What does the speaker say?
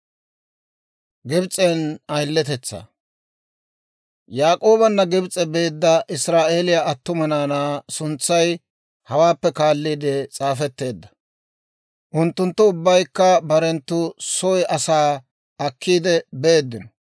Yaak'oobanna Gibs'e beedda Israa'eeliyaa attuma naanaa suntsay hawaappe kaaliide s'aafetteedda; unttunttu ubbaykka barenttu soy asaa akkiide beeddino.